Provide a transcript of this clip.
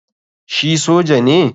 Shi soja ne?